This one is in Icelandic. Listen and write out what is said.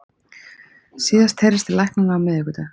Síðast heyrðist til læknanna á miðvikudag